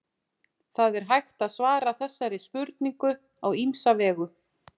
það er hægt að svara þessari spurningu á ýmsa vegu